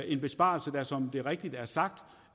en besparelse der som det rigtigt er sagt